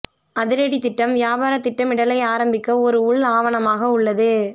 அதிரடி திட்டம் வியாபார திட்டமிடலை ஆரம்பிக்க ஒரு உள் ஆவணமாக உள்ளது